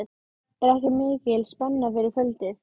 Er ekki mikil spenna fyrir kvöldið?